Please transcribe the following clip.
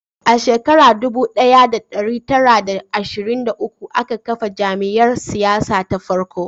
A shekara dubu daya da dari tara da ashirin da uku aka kafa jam'iyyar siyasa ta farko